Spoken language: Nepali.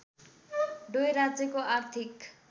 डोय राज्यको आर्थिक